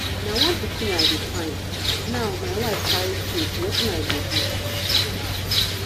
na one pikin i dey find now my wife carry twins wetin i go do